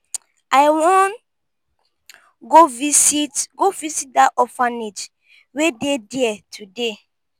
i wan go visit go visit dat orphanage wey dey there today.